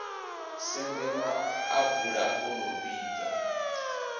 sende maḓabula o no vhibva